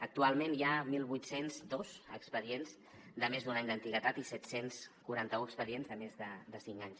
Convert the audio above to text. actualment hi ha divuit zero dos expedients de més d’un any d’antiguitat i set cents i quaranta un expedients de més de cinc anys